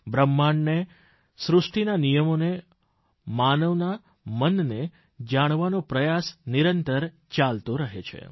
બ્રહ્માંડને સૃષ્ટિના નિયમોને માનવના મનને જાણવાનો પ્રયાસ નિરંતર ચાલતો રહે છે